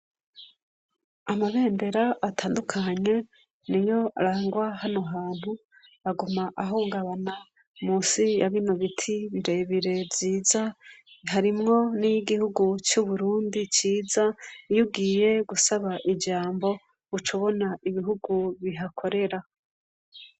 Amabendera atandukanye niyo arangwa hano hantu aguma ahungabana musi ya bino biti bire bire vyiza harimwo n' iyigihugu c' Uburundi ciza iyo ugiye gusaba ijambo uca ubona ibihugu bihakorera.